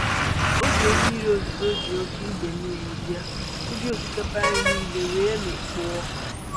Oge mmiri ozuzo ji oke idei mmiri bịa, ubi osikapa anyị niile wee mikpuo.